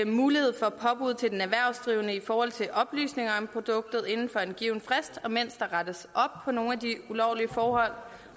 mulighed for påbud til den erhvervsdrivende i forhold til oplysninger om produktet inden for en given frist imens der rettes op på nogle af de ulovlige forhold